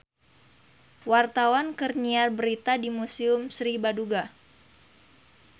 Wartawan keur nyiar berita di Museum Sri Baduga